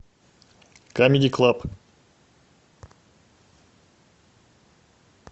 камеди клаб